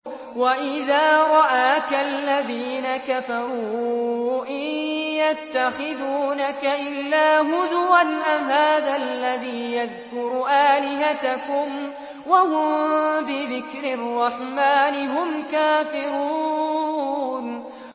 وَإِذَا رَآكَ الَّذِينَ كَفَرُوا إِن يَتَّخِذُونَكَ إِلَّا هُزُوًا أَهَٰذَا الَّذِي يَذْكُرُ آلِهَتَكُمْ وَهُم بِذِكْرِ الرَّحْمَٰنِ هُمْ كَافِرُونَ